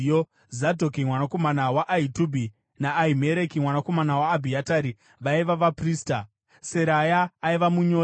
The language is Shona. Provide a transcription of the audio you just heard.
Zadhoki mwanakomana waAhitubhi naAhimereki mwanakomana waAbhiatari vaiva vaprista; Seraya aiva munyori;